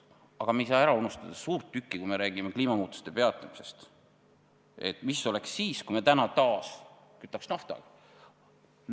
Aga me ei saa ära unustada suurt küsimust, kui me räägime kliimamuutuste peatamisest: mis oleks siis, kui me täna taas kütaks naftaga.